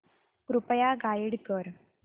कृपया गाईड कर